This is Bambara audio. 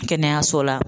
Kɛnɛyaso la